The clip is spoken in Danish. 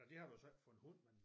Ej det har du så ikke for en hund men